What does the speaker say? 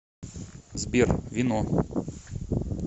сбер вино